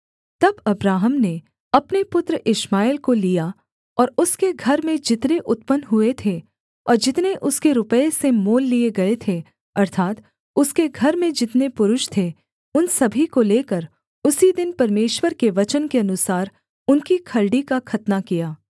तब अब्राहम ने अपने पुत्र इश्माएल को लिया और उसके घर में जितने उत्पन्न हुए थे और जितने उसके रुपये से मोल लिये गए थे अर्थात् उसके घर में जितने पुरुष थे उन सभी को लेकर उसी दिन परमेश्वर के वचन के अनुसार उनकी खलड़ी का खतना किया